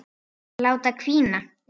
Láta hvína.